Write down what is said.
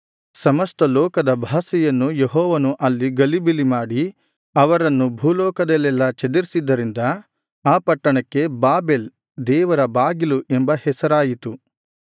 ಸಮಸ್ತ ಲೋಕದ ಭಾಷೆಯನ್ನು ಯೆಹೋವನು ಅಲ್ಲಿ ಗಲಿಬಿಲಿ ಮಾಡಿ ಅವರನ್ನು ಭೂಲೋಕದಲ್ಲೆಲ್ಲಾ ಚದರಿಸಿದ್ದರಿಂದ ಆ ಪಟ್ಟಣಕ್ಕೆ ಬಾಬೆಲ್ ದೇವರ ಬಾಗಿಲು ಎಂಬ ಹೆಸರಾಯಿತು